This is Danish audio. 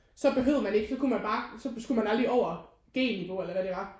Så behøvede man ikke så kunne man bare så skulle man aldrig over G niveau eller hvad det var